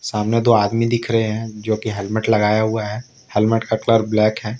सामने दो आदमी दिख रहे हैं जो कि हेलमेट लगाए हुआ है हेलमेट का कलर ब्लैक है।